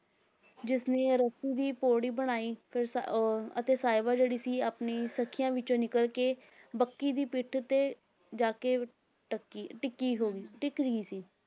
ਜਿਸਨੇ ਰੱਸੀ ਦੀ ਪੌੜੀ ਬਣਾਈ ਫਿਰ ਸ~ ਉਹ ਅਤੇ ਸਾਹਿਬਾਂ ਜਿਹੜੀ ਸੀ ਆਪਣੀ ਸਖੀਆਂ ਵਿੱਚੋਂ ਨਿਕਲ ਕੇ ਬੱਕੀ ਦੀ ਪਿੱਠ ਤੇ ਜਾ ਕੇ ਟੱਕੀ ਟਿੱਕੀ ਹੋ ਗਈ, ਟਿੱਕ ਗਈ ਸੀ